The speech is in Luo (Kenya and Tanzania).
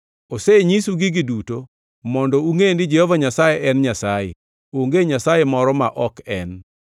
Osenyisu gigi duto mondo ungʼe ni Jehova Nyasaye en Nyasaye; onge Nyasaye moro ma ok en.